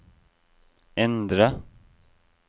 endre